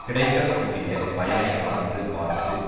கிடைக்க கூடிய பயனை அளந்து பார்த்து